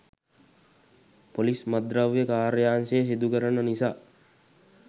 police මත්ද්‍රව්‍ය කාර්යාංශය සිදුකරන නිසා